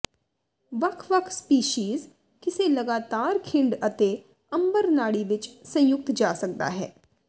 ਵੱਖ ਵੱਖ ਸਪੀਸੀਜ਼ ਕਿਸੇ ਲਗਾਤਾਰ ਖਿੰਡ ਅਤੇ ਅੰਬਰ ਨਾੜੀ ਵਿਚ ਸੰਯੁਕਤ ਜਾ ਸਕਦਾ ਹੈ